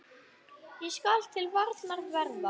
Hvað skal til varnar verða?